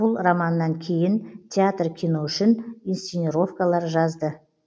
бұл романынан кейін театр кино үшін инсценаровкалар жазды